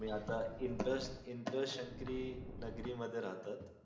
मी त इंत्रास्क्री इंत्रास्क्री नागरी मध्ये राहतात.